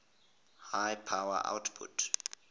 high power outputs